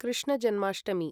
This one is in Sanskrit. कृष्ण जन्माष्टमी